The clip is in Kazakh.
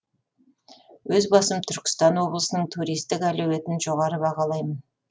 өз басым түркістан облысының туристік әлеуетін жоғары бағалаймын